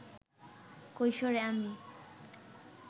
কৈশোরে আমি